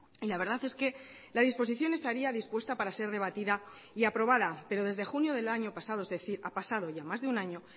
y la verdad es que la disposición estaría dispuesta para ser debatida y aprobada pero desde junio del año pasado es decir ha pasado ya más de un año